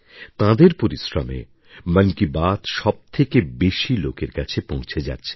তাঁদের পরিশ্রমে মন কি বাত সব থেকে বেশি লোকের কাছে পৌঁছে যাচ্ছে